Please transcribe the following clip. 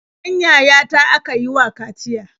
Ɗan yayata aka yi wa kaciya.